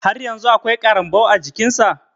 Har yanzun akwai ƙarambau a jiƙin sa.